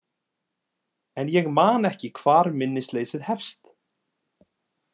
En ég man ekki hvar minnisleysið hefst.